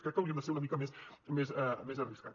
crec que hauríem de ser una mica més arriscats